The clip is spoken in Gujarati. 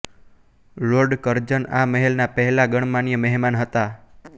લોર્ડ કરઝન આ મહેલના પહેલા ગણમાન્ય મહેમાન હતાં